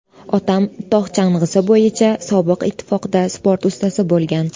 Otam tog‘ chang‘isi bo‘yicha Sobiq Ittifoqda sport ustasi bo‘lgan.